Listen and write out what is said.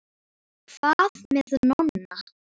Og hvað með Nonna?